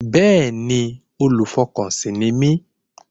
Bẹ́ẹ̀ni, olùfọkànsìn ni mí